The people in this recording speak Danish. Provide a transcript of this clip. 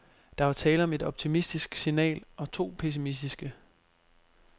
Der var tale om et optimistisk signal og to pessimistiske.